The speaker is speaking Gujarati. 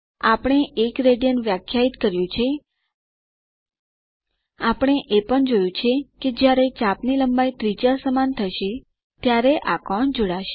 આપણે 1 રાડ વ્યાખ્યાયિત કર્યું છે આપણે એ પણ જોયું કે જ્યારે ચાપ ની લંબાઇ ત્રિજ્યા સમાન થશે ત્યારે આ કોણ જોડાશે